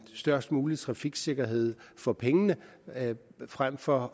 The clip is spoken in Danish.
størst mulig trafiksikkerhed for pengene frem for